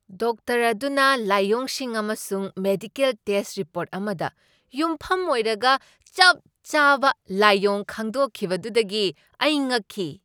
Doctor ꯑꯗꯨꯅ ꯂꯥꯏꯑꯣꯡꯁꯤꯡ ꯑꯃꯁꯨꯡ ꯃꯦꯗꯤꯀꯦꯜ ꯇꯦꯁ꯭ꯠ ꯔꯤꯄꯣꯔꯠ ꯑꯃꯗ ꯌꯨꯝꯐꯝ ꯑꯣꯏꯔꯒ ꯆꯞ ꯆꯥꯕ ꯂꯥꯏꯑꯣꯡ ꯈꯪꯗꯣꯛꯈꯤꯕꯗꯨꯗꯒꯤ ꯑꯩ ꯉꯛꯈꯤ ꯫